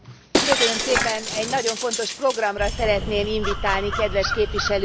Egy nagyon fontos programra szeretném invitálni kedves képviselőtársaimat.